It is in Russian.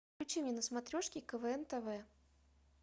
включи мне на смотрешке квн тв